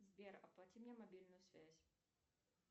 сбер оплати мне мобильную связь